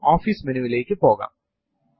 Linux ൽ മിക്കവാറും എല്ലാം ഫയൽ ആണ്